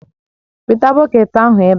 Weta bọket ahụ ebe a!